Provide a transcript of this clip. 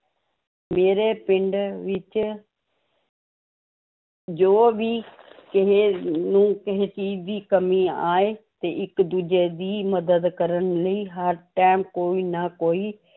ਮੇਰੇ ਪਿੰਡ ਵਿੱਚ ਜੋ ਵੀ ਕਿਸੇੇ ਨੂੰ ਕਿਸੇ ਚੀਜ਼ ਦੀ ਕਮੀ ਆਏ ਤੇ ਇੱਕ ਦੂਜੇ ਦੀ ਮਦਦ ਕਰਨ ਲਈ ਹਰ time ਕੋਈ ਨਾ ਕੋਈ